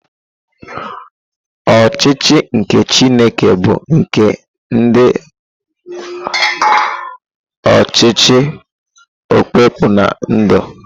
Ọchịchị nke Chineke bu nke ndị ọchịchị okpukpe na-edu.